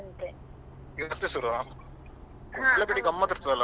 ಮತ್ತೆ ಸುರುವ Kumble ಜಾತ್ರೆ ಗಮ್ಮತ್ತಿರುತ್ತಲ್ಲ ಭಯಂಕರ ಇರ್ತದಲ್ಲ.